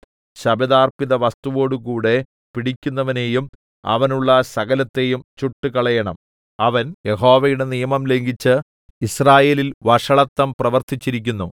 ശപഥാർപ്പിതവസ്തുവോടുകൂടെ പിടിക്കപ്പെടുന്നവനെയും അവനുള്ള സകലത്തെയും ചുട്ടുകളയേണം അവൻ യഹോവയുടെ നിയമം ലംഘിച്ച് യിസ്രായേലിൽ വഷളത്തം പ്രവർത്തിച്ചിരിക്കുന്നു